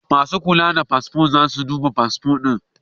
Masu kula da fasfo za su duba fasfo ɗin.